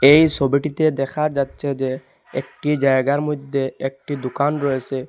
এই সবিটিতে দেখা যাচ্ছে যে একটি জায়গার মইধ্যে একটি দুকান রয়েসে।